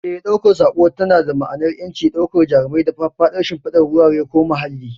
Eh, ɗaukar sako tana ba dama'anar ƴanci, daukar jarumai da faffadar shimfidar wurare ko muhalli.